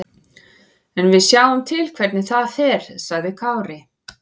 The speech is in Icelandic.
En við sjáum til hvernig það fer, sagði Kári.